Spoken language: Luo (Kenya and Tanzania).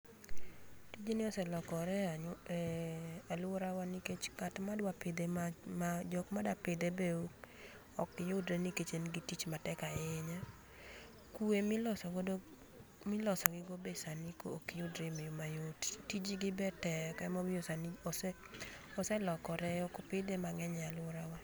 Gini oselokore e anyola, eeh aluorawa nikech ng'atma dwa pidhe ma, jokma dwa pidhe be ok yudre nikech en gi tich matek ahinya. Kwe miloso godo, miloso gigo be sani ok yudre e yoo mayot, tijgi be tek ema omiyo sani oselokore, ok pidhe mangeny e aluorawa